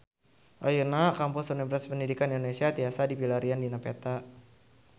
Ayeuna Kampus Universitas Pendidikan Indonesia tiasa dipilarian dina peta